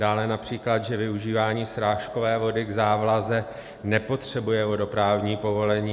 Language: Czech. Dále například, že využívání srážkové vody k závlaze nepotřebuje vodoprávní povolení.